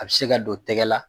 A bɛ se ka don tɛgɛ la